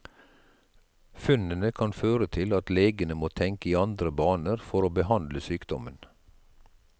Funnene kan føre til at legene må tenke i andre baner for å behandle sykdommen.